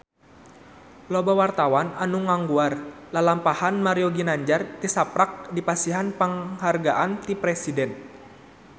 Loba wartawan anu ngaguar lalampahan Mario Ginanjar tisaprak dipasihan panghargaan ti Presiden